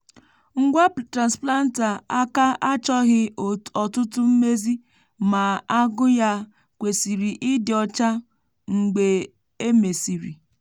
ngwa transplanter aka achọghị ọtụtụ mmezi ma agụ ya kwesịrị ịdị ọcha mgbe e mesịrị.